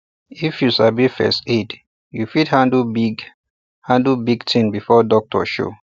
if you sabi first aid you fit handle big handle big tin before doctor show